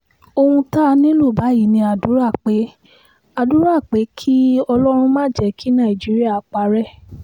ohun tá a nílò báyìí ni àdúrà pé àdúrà pé kí ọlọ́run má jẹ́ kí nàìjíríà parẹ́